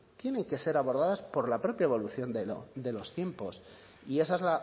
tienen que ser abordadas por la propia evolución de los tiempos y esa es